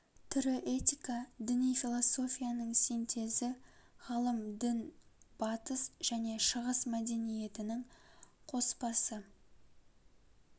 тірі этика діни философияның синтезі ғылым дін батыс және шығыс мәдениетінің коспасы